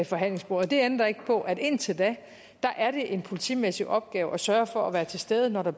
forhandlingsbordet og det ændrer ikke på at indtil da er det en politimæssig opgave at sørge for at være til stede når der